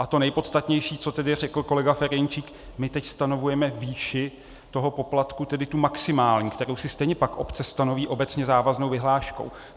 A to nejpodstatnější, co tedy řekl kolega Ferjenčík - my teď stanovujeme výši toho poplatku, tedy tu maximální, kterou si stejně pak obce stanoví obecně závaznou vyhláškou.